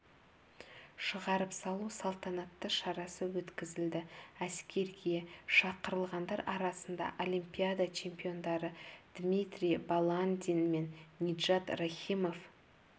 шығарып салу салтанатты шарасы өткізілді әскерге шақырылғандар арасында олимпиада чемпиондары дмитрий баландин мен ниджат рахимов